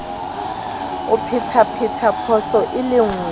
o phethaphetha phoso e le